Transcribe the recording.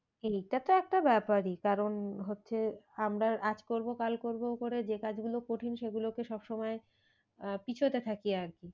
এইটা তো একটা ব্যাপারই কারণ হচ্ছে আমরা আজ করবো কাল করবো করে যে কাজ গুলো কঠিন সে গুলোকে সব সময় আহ পেছোতে থাকি আর কি।